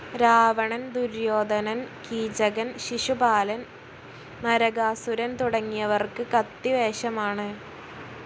രാവണൻ, ദുര്യോധനൻ, കീചകൻ, ശിശുപാലൻ, നരകാസുരൻ തുടങ്ങിയവർക്ക് കത്തിവേഷമാണ്.